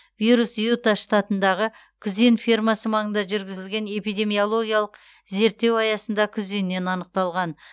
вирус юта штатындағы күзен фермасы маңында жүргізілген эпидемиологиялық зерттеу аясында күзеннен анықталған